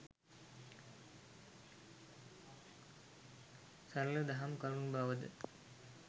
සරළ දහම් කරුණු බවද